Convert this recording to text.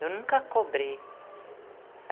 Eu nunca cobrei.